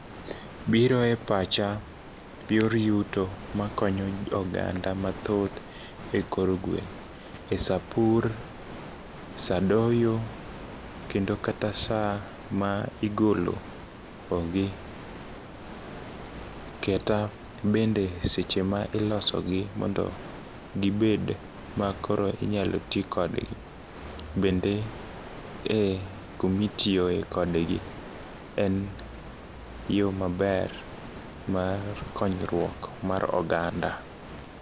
Biro e pacha yor yuto makonyo oganda mathoth e kor gweng' e saa pur ,saa doyo kendo kata saa ma igolo o gi. Kata bende seche ma iloso gi mondo gibed ma koro inyalo tii kodgi. Bende e kumitiyo kodgi en yoo maber mar konyruok mar oganda.